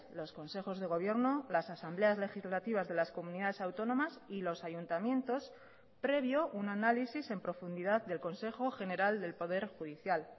los consejos de gobierno las asambleas legislativas de las comunidades autónomas y los ayuntamientos previo un análisis en profundidad del consejo general del poder judicial